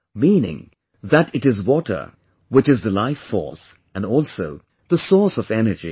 Meaning that it is water which is the life force and also, the source of energy